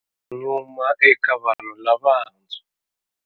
Nyuma eka vanhu lavantshwa.